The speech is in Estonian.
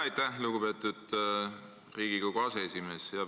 Aitäh, lugupeetud Riigikogu aseesimees!